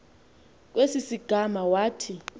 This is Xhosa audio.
kwesi sigama wathi